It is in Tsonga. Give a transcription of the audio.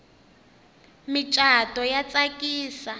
micato ya tsakisa